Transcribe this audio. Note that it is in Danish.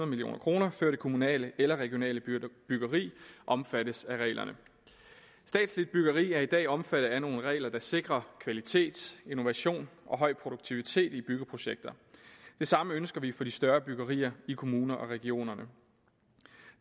million kr før det kommunale eller regionale byggeri omfattes af reglerne statsligt byggeri er i dag omfattet af nogle regler der sikrer kvalitet innovation og høj produktivitet i byggeprojekter det samme ønsker vi for de større byggerier i kommuner og regioner